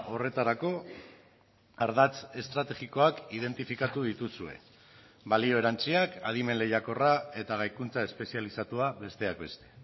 horretarako ardatz estrategikoak identifikatu dituzue balio erantziak adimen lehiakorra eta gaikuntza espezializatua besteak beste